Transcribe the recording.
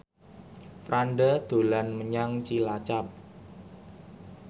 Franda dolan menyang Cilacap